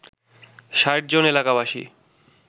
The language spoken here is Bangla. ৬০ জন এলাকাবাসী